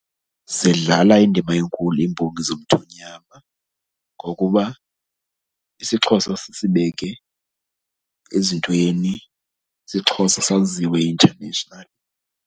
Zidlala indima enkulu iimbongi zomthonyama ngokuba isiXhosa zisibeke ezintweni, isiXhosa saziwe internationally.